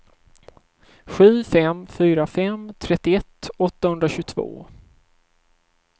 sju fem fyra fem trettioett åttahundratjugotvå